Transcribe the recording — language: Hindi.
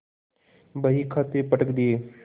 बहीखाते पटक दिये